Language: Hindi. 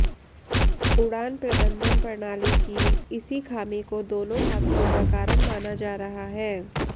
उड़ान प्रबंधन प्रणाली की इसी खामी को दोनों हादसों का कारण माना जा रहा है